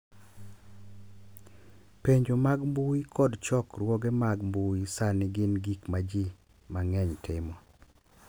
Penjo mag mbui kod chokruoge mag mbui sani gin gik ma ji mang’eny timo.